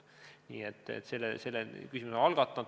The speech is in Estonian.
Nii et selle teema oleme algatanud.